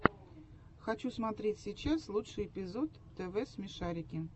хочу смотреть сейчас лучший эпизод тв смешарики